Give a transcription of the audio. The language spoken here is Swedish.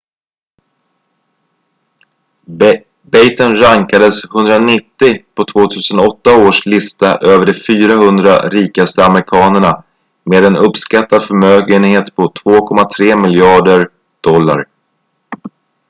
batten rankades 190 på 2008 års lista över de 400 rikaste amerikanerna med en uppskattad förmögenhet på 2,3 miljarder usd